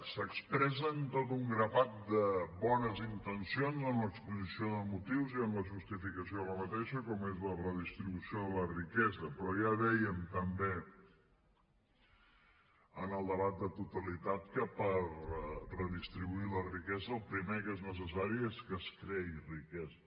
s’expressen tot un grapat de bones intencions en l’exposició de motius i en la justificació d’aquesta com és la redistribució de la riquesa però ja dèiem també en el debat de totalitat que per redistribuir la riquesa el primer que és necessari és que es creï riquesa